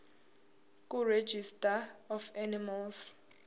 kuregistrar of animals